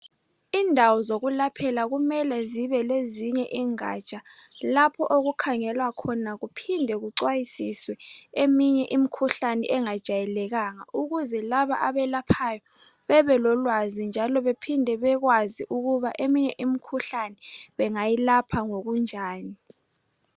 Indawo zokulaphela kumele zibe lezinye ingatsha lapho okukhangelwa khona kuphinde kucwayisiswe eminye imkhuhlane engajayelekanga ukuze labo abelaphayo bebe lolwazi njalo bephinde bekwazi ukuba eminye imikhuhlane bengayilapha ngokunjani.